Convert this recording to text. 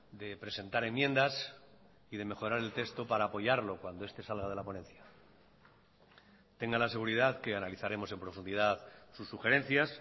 de presentar enmiendas y de mejorar el texto para apoyarlo cuando este salga de la ponencia tenga la seguridad que analizaremos en profundidad sus sugerencias